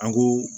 An ko